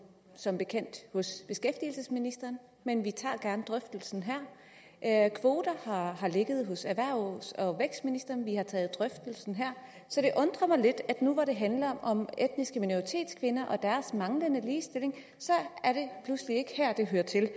som bekendt hos beskæftigelsesministeren men vi tager gerne drøftelsen her kvoter har har ligget hos erhvervs og vækstministeren men vi har taget drøftelsen her så det undrer mig lidt at nu når det handler om etniske minoritetskvinder og deres manglende ligestilling er det pludselig ikke her det hører til